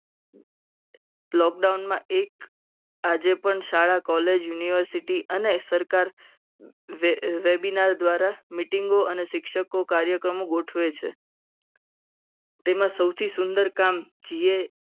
Lockdown માં એક આજે પણ શાળા college university અને સરકાર webinar દ્વારા meeting અને શિક્ષકો કાર્યક્રમ ગોઠવે છે. તેમાં સૌથી સુંદરકામ